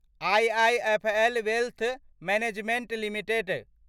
IIFL wealth management limited